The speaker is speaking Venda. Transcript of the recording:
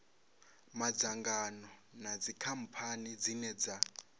madzangano na dzikhamphani dzine dza